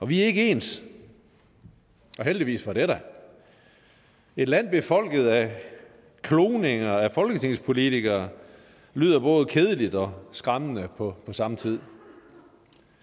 vi er ikke ens og heldigvis for det et land befolket af kloninger af folketingspolitikere lyder både kedeligt og skræmmende på samme tid